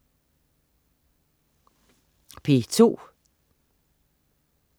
P2: